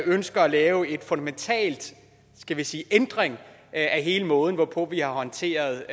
ønsker at lave en fundamental skal vi sige ændring af hele måden hvorpå vi har håndteret